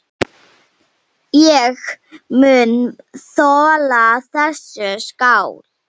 Ég mun þola þessa skál.